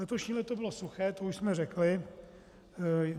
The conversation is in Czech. Letošní léto bylo suché, to už jsme řekli.